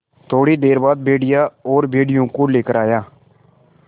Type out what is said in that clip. थोड़ी देर बाद भेड़िया और भेड़ियों को लेकर आया